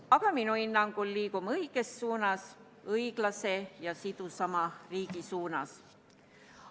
Aga minu hinnangul liigume õiges suunas, õiglasema ja sidusama riigi suunas.